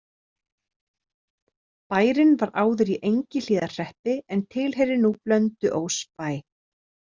Bærinn var áður í Engihlíðarhreppi en tilheyrir nú Blönduósbæ.